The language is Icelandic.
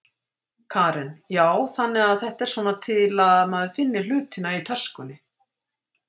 Karen: Já, þannig að þetta er svona til að maður finni hlutina í töskunni?